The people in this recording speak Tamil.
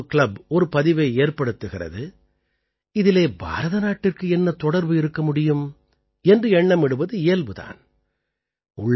துபாயிலே ஒரு கிளப் ஒரு பதிவை ஏற்படுத்துகிறது இதிலே பாரத நாட்டிற்கு என்ன தொடர்பு இருக்க முடியும் என்று எண்ணமிடுவது இயல்பு தான்